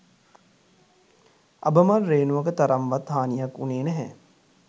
අබමල් රේණුවක තරම්වත් හානියක් වුණේ නැහැ